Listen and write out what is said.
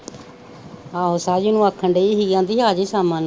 ਆਹੋ ਸਹਿਜ ਨੂੰ ਆਖਣ ਦੀ ਹੀ ਆਂਦੀ ਹੀ ਆ ਜੀ ਸ਼ਾਮਾਂ ਨੂੰ।